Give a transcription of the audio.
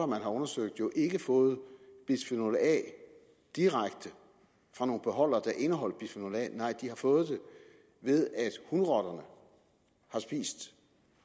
man har undersøgt jo ikke har fået bisfenol a direkte fra nogle beholdere der indeholdt bisfenol a nej de har fået det ved at hunrotterne